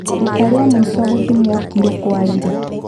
Rita rĩa mũico gũthimwo kiro kwarĩ rĩ